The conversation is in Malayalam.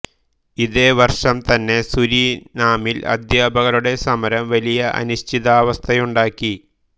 ഇതേ വർഷം തന്നെ സുരിനാമിൽ അദ്ധ്യാപകരുടെ സമരം വലിയ അനിശ്ചിതാവസ്ഥയുണ്ടാക്കി